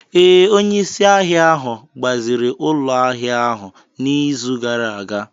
Ee, onye isi ahịa ahụ gbaziri ụlọ ahịa ahu n'izu gara aga.